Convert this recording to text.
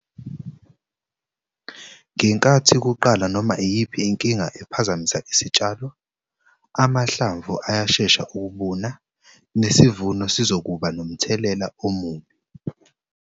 Ngenkathi kuqala noma iyiphi inkinga ephazamisa isitshalo, amahlamvu ayashesha ukubuna, nesivuno sizokuba nomthelela omubi.